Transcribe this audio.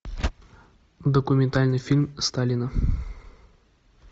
документальный фильм сталина